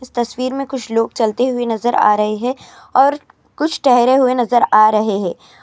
اس تصویر میں کچھ لوگ چلتے ہوئے نظر ارہے ہیں اور کچھ ٹہرے ہوئے نظر ارہے ہیں.